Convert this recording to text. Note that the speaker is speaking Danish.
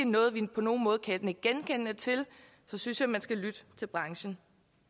noget de på nogen måde kan nikke genkendende til så synes jeg man skal lytte til branchen